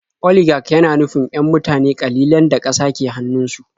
Oligak yana nufin 'yan mutane ƙalilan da ƙasa ke hannunsu.